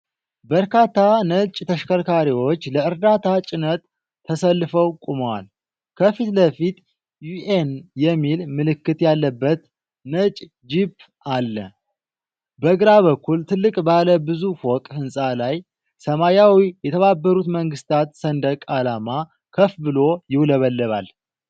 በርካታ ነጭ ተሽከርካሪዎች ለእርዳታ ጭነት ተሰልፈው ቆመዋል። ከፊት ለፊት "ዩኤን" የሚል ምልክት ያለበት ነጭ ጂፕ አለ። በግራ በኩል ትልቅ ባለ ብዙ ፎቅ ሕንፃ ላይ ሰማያዊ የተባበሩት መንግሥታት ሰንደቅ ዓላማ ከፍ ብሎ ይውለበለባል።